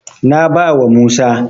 Na bawa Musa.